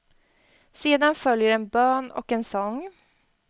Sedan följer en bön och en sång.